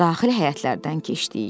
Daxili həyətlərdən keçdik.